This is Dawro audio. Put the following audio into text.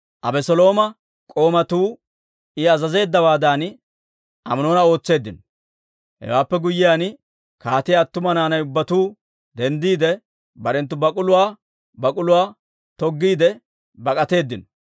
Abeselooma k'oomatuu I azazeeddawaadan Aminoona ootseeddino. Hewaappe guyyiyaan, kaatiyaa attuma naanay ubbatuu denddiide, barenttu bak'uluwaa bak'uluwaa toggiide bak'atteedino.